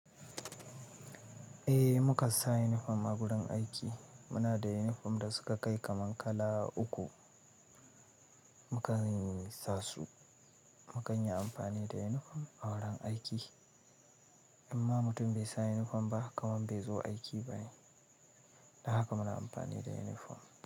Eh mukansa uniform a gurin aiki. Muna da uniform da suka kai kaman kala uku. Mukan sasu, mu kan yi amfani da uniform a wurin aiki. In ma mutum bai sa uniform ba ka man bai zo aiki ba ne. Don haka muna amfani da uniform.